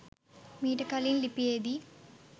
මීට කලින් ලිපියෙදී